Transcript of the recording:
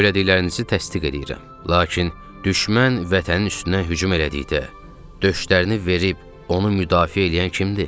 Söylədiklərinizi təsdiq eləyirəm, lakin düşmən vətənin üstünə hücum elədikdə döşlərini verib onu müdafiə eləyən kimdir?